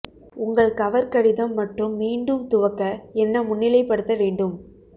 உங்கள் கவர் கடிதம் மற்றும் மீண்டும் துவக்க என்ன முன்னிலைப்படுத்த வேண்டும்